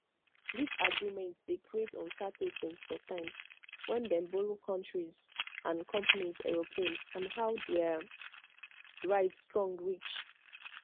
dis agreement dey creates uncertainty sometimes wen dem dey borrow kontris and companies aeroplane and how dia rights strong reach